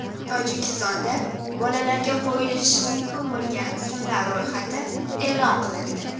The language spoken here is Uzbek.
Tojikistonda bolalarga qo‘yilishi mumkin bo‘lgan ismlar ro‘yxati e’lon qilindi.